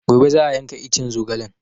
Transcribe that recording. Gobe za a yanka iccen zogalen